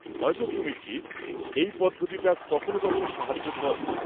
হয়তো তুমি ঠিক, এই পদ্ধতিটা কখনো কখনো সাহায্য করে।